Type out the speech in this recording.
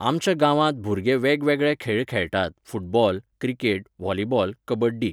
आमच्या गांवांत भुरगे वेगवेगळे खेळ खेळटात फुटबॉल, क्रिकेट, व्हॉलीबॉल, कबड्डी